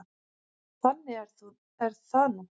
Þannig er það núna.